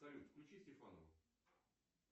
салют включи стефанову